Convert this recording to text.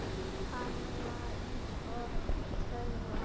Hann var eins og tölva.